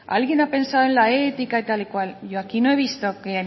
alguien ha pensado en la ética y tal y cual yo aquí no he visto que